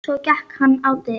Svo gekk hann á dyr.